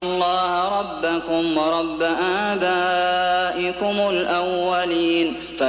اللَّهَ رَبَّكُمْ وَرَبَّ آبَائِكُمُ الْأَوَّلِينَ